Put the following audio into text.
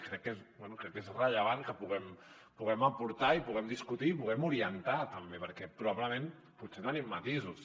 crec que és rellevant que puguem aportar i que puguem discutir i que puguem orientar també perquè probablement potser tenim matisos